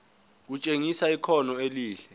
kutshengisa ikhono elihle